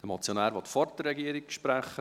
Der Motionär will vor der Regierung sprechen.